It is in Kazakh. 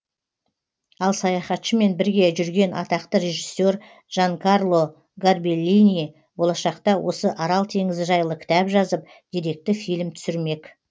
ал саяхатшымен бірге жүрген атақты режиссер джанкарло горбеллини болашақта осы арал теңізі жайлы кітап жазып деректі фильм түсірмек